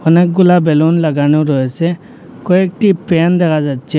অনেকগুলা বেলুন লাগানো রয়েছে কয়েকটি প্যান দেখা যাচ্ছে।